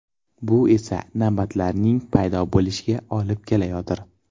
Bu esa navbatlarning paydo bo‘lishiga olib kelayotir.